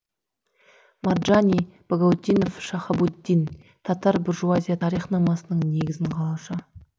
марджани багаутдинов шахабуддин татар буржуазия тарихнамасының негізін қалаушы